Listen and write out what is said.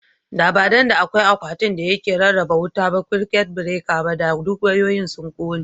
Da ba dan da akwai akwatin da yake rarraba wuta ba (circuit breaker) ba, da duk wayoyin sun kone.